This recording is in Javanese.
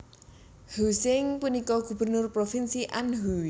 Huizheng punika gubernur provinsi Anhui